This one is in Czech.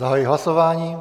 Zahajuji hlasování.